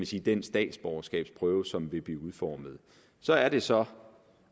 sige den statsborgerskabsprøve som vil blive udformet så er det så